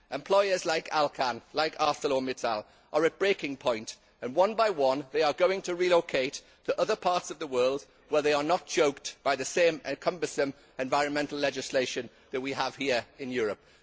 Employers like Alcan and ArcelorMittal are at breaking point, and one by one they are going to relocate to other parts of the world where they are not choked by the same cumbersome environmental legislation that we have here in Europe.